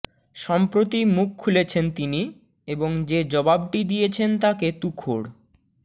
সম্প্রতি মুখ খুলেছেন তিনি এবং যে জবাবটি দিয়েছেন তাকে তুখোড়